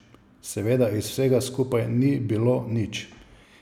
Seveda iz vsega skupaj ni bilo nič.